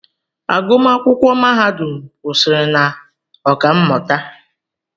Agụmakwụkwọ mahadum kwụsịrị na Ọkammụta